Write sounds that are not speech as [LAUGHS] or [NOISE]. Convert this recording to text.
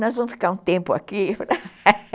Nós vamos ficar um tempo aqui [LAUGHS]